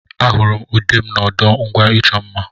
Ahụrụ m ude m n'ọdụ ngwa ịchọ mma.